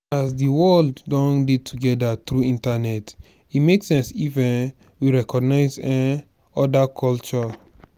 as di world don dey together through internet e make sense if um we recognise um oda culture